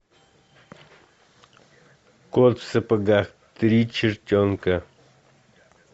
кот в сапогах три чертенка